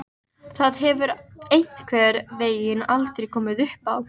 Þótt titlarnir séu ekki fleiri er sýnt hvert stefnir.